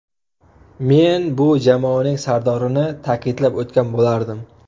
Men bu jamoaning sardorini ta’kidlab o‘tgan bo‘lardim.